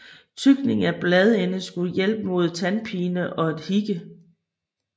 Tygning af bladende skulle hjælpe mod tandpine og hikke